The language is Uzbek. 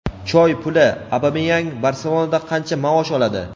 "Choy puli": Obameyang "Barselona"da qancha maosh oladi?.